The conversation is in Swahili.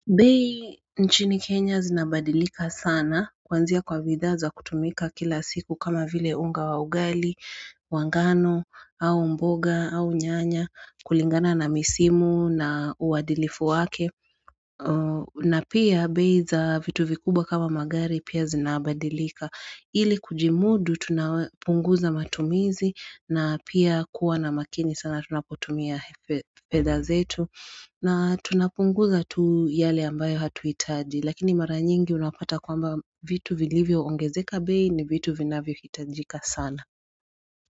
Bei nchini Kenya zinabadilika sana kwanzia kwa bidhaza kutumika kila siku kama vile unga wa ugali, wangano, au mboga, au nyanya, kulingana na misimu na uwadilifu wake na pia beiza vitu vikubwa kama magari pia zinabadilika ili kujimudu tunapunguza matumizi na pia kuwa na makini sana tunapotumia fedhazetu na tunapunguza tu yale ambayo hatu hitaji Lakini mara nyingi unapata kwamba vitu vilivyo ongezeka bei ni vitu vinavyo hitajika sana.